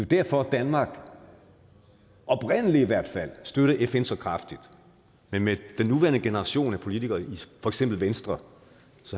derfor at danmark oprindelig i hvert fald har støttet fn så kraftigt men med den nuværende generation af politikere i for eksempel venstre